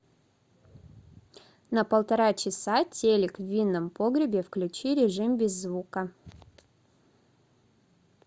на полтора часа телик в винном погребе включи режим без звука